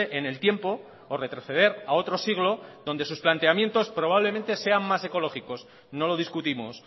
en el tiempo o retroceder a otro siglo donde sus planteamientos probablemente sean más ecológicos no lo discutimos